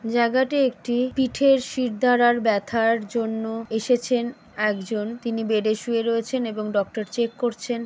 জায়গাটা একটি পীঠের শিরদাঁড়ার ব্যথার জন্য এসেছেন একজন তিনি বেডে শুয়ে রয়েছেন এবং ডক্টর চেক করছেন।